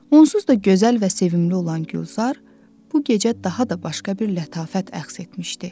Onsuz da gözəl və sevimli olan Gülzar bu gecə daha da başqa bir lətafət əxz etmişdi.